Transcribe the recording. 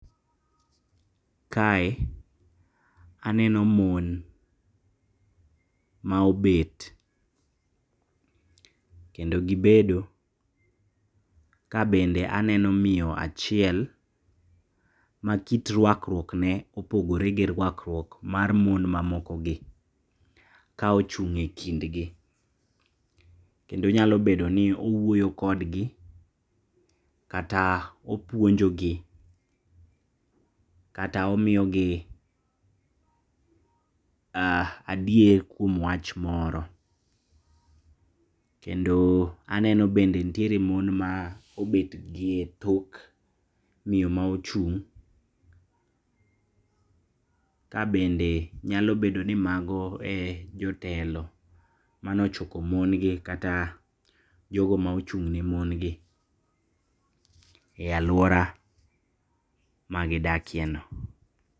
Kae aneno mon, maobet, kendo gibedo kabende aneno miyo achiel makit ruakruokne opogore gi ruakruok mar mon mamokogi kaochung' e kindgi, kendo nyalo bedoni owuoyo kodgi, kata opuonjogi, kata omiyogi adier kuom wach moro, kendo aneno bende ntiere mon ma obet gi etok miyo maochung' kabende nyalo bedoni mago e jotelo manochoko mon gi kata jogo maochung' ne mon gi e aluora magidakieno.